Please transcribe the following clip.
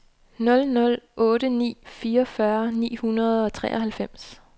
nul nul otte ni fireogfyrre ni hundrede og treoghalvfems